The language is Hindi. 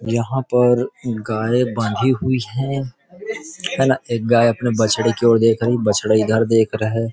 यहां पर गाय बांधी हुई है है ना एक गाय अपने बछड़े की ओर देख रही बछड़ा इधर देख रहा है।